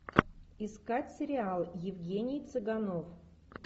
искать сериал евгений цыганов